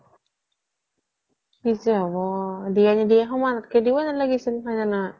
কি যে হ্'ব দিয়া নিদিয়া সমন তাতকে দিবয়ে নালাগিছিল হয় নে নহয়